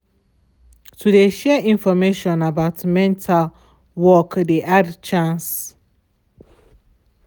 to de share information about mental work de add chance.